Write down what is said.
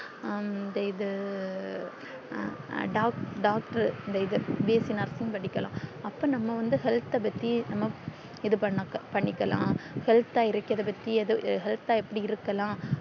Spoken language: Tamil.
ஹம் இது doc doctor இந்த இது bsc nursing படிக்கில்லா அப்போ நம்ப வந்து health பத்தி நம்ம இது பண்ணாக பண்ணிகில்லாம் health அ இருக்கிறது பத்தி health அ எப்டி இருக்கலாம்